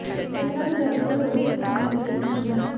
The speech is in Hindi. घटना में दर्जनों लोगों के घायल होने की सूचना है